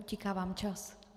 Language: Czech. Utíká vám čas.